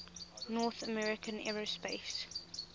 north american aerospace